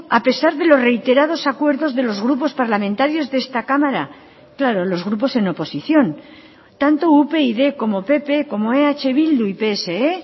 a pesar de los reiterados acuerdos de los grupos parlamentarios de esta cámara claro los grupos en oposición tanto upyd como pp como eh bildu y pse